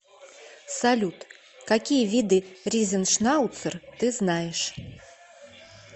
салют какие виды ризеншнауцер ты знаешь